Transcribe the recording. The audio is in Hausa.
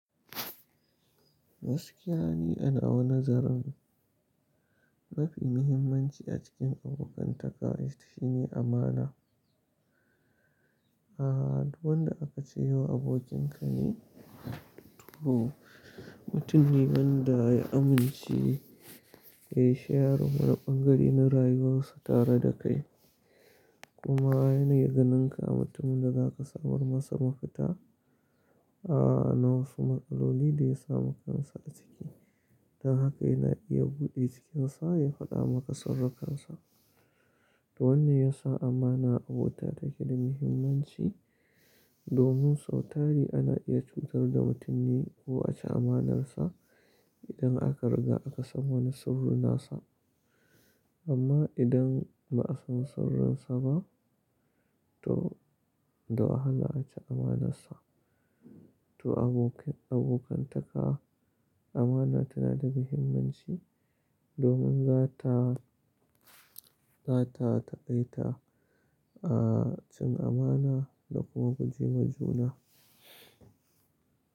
Gaskiya ni a na wa nazarin, mafi muhimmanci a cikin abokantaka shine amana. A'a, duk wanda aka ce wa abokin ka ne, to mutum ne wanda ya amince ya yi shawarwarin bangare na rayuwarsa tare da kai. Kuma yana yi ganinka mutumin da za ka samar masa mafita, a'a na wasu matsaloli da ya samu kansa a ciki. Don haka yana iya buɗe cikinsa ya faɗa maka saurukansa. To wannan ya sa amana a abota take da muhimmanci, domin sau tari ana iya cutar da mutummi ko a ci amanarsa idan aka riga aka san wani surun nasa amma idan ba a san sauran sa ba, to, da wahala sce amanarsa. To abokantaka amana tana da muhimmanci domin za ta, za ta taƙaita, a'a cin amana da kuma guje ma juna.